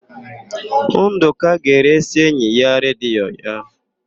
Ndụka ga-eresị enyi ya redio ya.